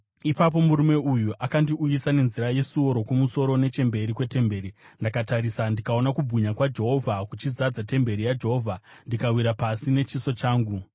Ipapo murume uyu akandiuyisa nenzira yesuo rokumusoro nechemberi kwetemberi. Ndakatarisa ndikaona kubwinya kwaJehovha kuchizadza temberi yaJehovha, ndikawira pasi nechiso changu.